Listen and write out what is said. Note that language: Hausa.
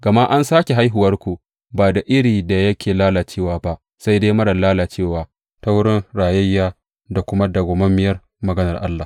Gama an sāke haihuwarku, ba da iri da yake lalacewa ba, sai dai marar lalacewa, ta wurin rayayyiya da kuma madawwamiyar maganar Allah.